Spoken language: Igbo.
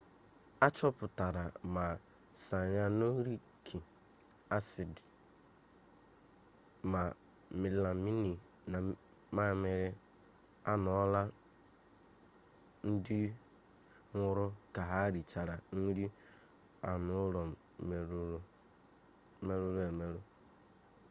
a chọpụtara ma sayanọriki asidi ma melamini na mamịrị anụụlọ ndị nwụrụ ka ha richara nri anụụlọ merụrụ emerụ